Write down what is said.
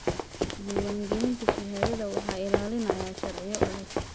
Diiwaangelinta shahaadada waxaa ilaalinaya sharciyo adag.